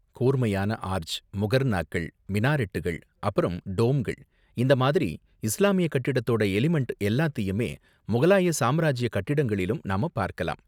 கூர்மையான ஆர்ச், முகர்ணாக்கள், மினாரெட்டுகள், அப்பறம் டோம்கள் இந்த மாதிரி இஸ்லாமிய கட்டிடத்தோட எலிமெண்ட் எல்லாத்தையுமே முகலாய சாம்ராஜிய கட்டிடங்களிலும் நாம பார்க்கலாம்.